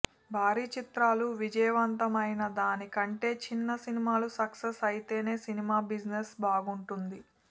భారీ చిత్రాలు విజయవంతం అయిన దాని కంటే చిన్న సినిమాలు సక్సెస్ అయితేనే సినిమా బిజినెస్ బాగుంటుంది